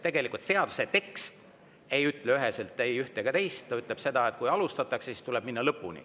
Tegelikult seaduse tekst ei ütle üheselt ei ühte ega teist, ütleb seda, et kui alustatakse, siis tuleb minna lõpuni.